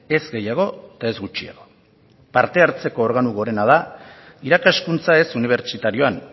ez gehiago eta ez gutxiago parte hartzeko organo gorena da irakaskuntza ez unibertsitarioan